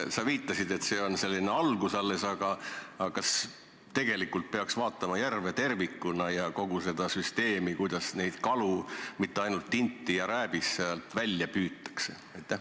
Sa viitasid, et see on alles algus, aga kas peaks vaatama järve tervikuna ja kogu seda süsteemi, kuidas kalu, mitte ainult tinti ja rääbist, sealt välja püütakse?